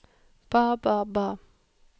ba ba ba